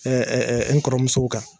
Ɛɛ n kɔrɔmusow kan.